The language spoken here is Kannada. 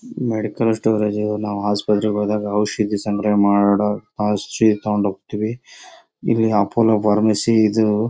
ಮೆಡಿಕಲ್ ಸ್ಟೋರೇಜ್ ನಾವು ಆಸ್ಪತ್ರೆ ಗೆ ಹೋದಾಗ ಔಷದಿ ಸಂಗ್ರಹ ಮಾಡ ತಗೊಂಡು ಹೋಗ್ತಿವಿ ಇಲ್ಲಿ ಅಪೋಲೋ ಫಾರ್ಮಸಿ ಇದು--